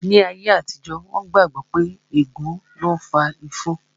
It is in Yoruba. Ní ayé àtijó, wón gbà gbọ́ pé ègún ni ó fa ifo